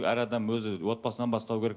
әр адам өзі отбасынан бастауы керек